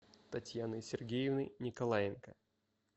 татьяны сергеевны николаенко